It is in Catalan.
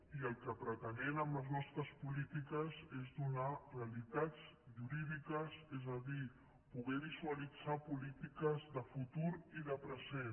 i el que pretenem amb les nostres polítiques és donar realitats jurídiques és a dir poder visualitzar polítiques de futur i de present